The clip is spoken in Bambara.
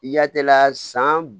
Yatela san